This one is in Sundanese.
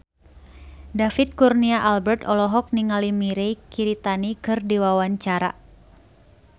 David Kurnia Albert olohok ningali Mirei Kiritani keur diwawancara